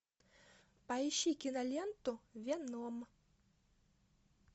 поищи киноленту веном